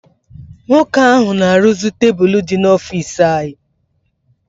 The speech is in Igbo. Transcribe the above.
Nwoke ahụ na-arụzi tebụl dị n'ọfiisi ya.